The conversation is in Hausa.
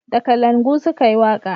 Da kalangu su ka yi waka